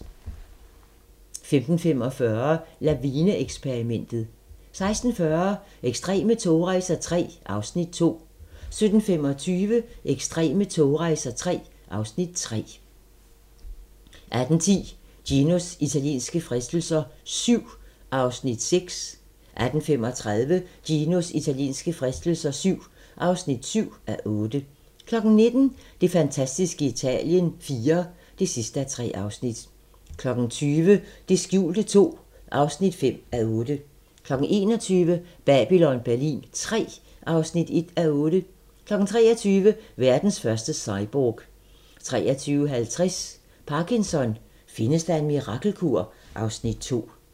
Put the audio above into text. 15:45: Lavine-eksperimentet 16:40: Ekstreme togrejser III (Afs. 2) 17:25: Ekstreme togrejser III (Afs. 3) 18:10: Ginos italienske fristelser VII (6:8) 18:35: Ginos italienske fristelser VII (7:8) 19:00: Det fantastiske Italien IV (3:3) 20:00: Det skjulte II (5:8) 21:00: Babylon Berlin III (1:8) 23:00: Verdens første cyborg 23:50: Parkinson: Findes der en mirakelkur? (Afs. 2)